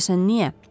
Görəsən niyə?